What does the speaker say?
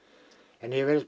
en yfirleitt